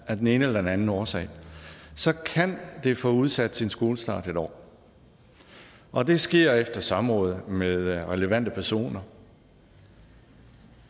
af den ene eller den anden årsag så kan det få udsat sin skolestart et år og det sker efter samråd med relevante personer